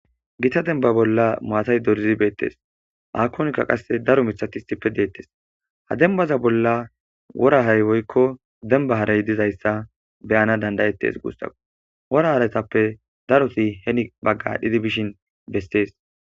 gita denba bolla maatay dorzibeettes akonkka qasse daro mithatistippe deettes ha dembaza bolla worahay woykko demba haray dizayssa beyana dandayettes guussau woraharetappe daroti heni baggadhdhidi bishin bestees